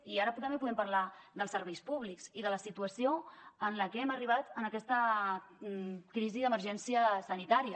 i ara també podem parlar dels serveis públics i de la situació com hem arribat a aquesta crisi d’emergència sanitària